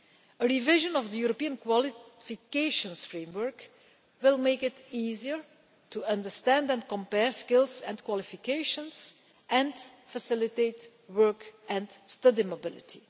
A revision of the European Qualifications Framework will make it easier to understand and compare skills and qualifications, and facilitate work and study mobility.